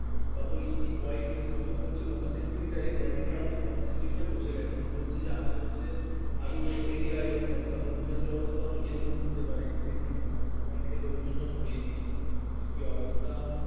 কত ইঞ্চি কত বলছে কত সেন্টিমিটারে এ কদিনে আরো কত সেন্টিমিটার বসে গেছে এখন বলছে যে আশেপাশে আরো এরকম অবস্থা বদ্রিনাথের অবস্থাও নাকি এরকম হতে পারে যে কোন সময়। ওখান থেকে লোকজন সব সরিয়ে নিচ্ছে। একি অবস্থা।